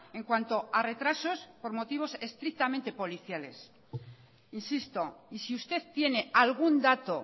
en cuanto a retrasos por motivos estrictamente policiales insisto y si usted tiene algún dato